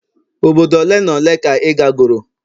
obodo ole n' ole ka ị ga goro?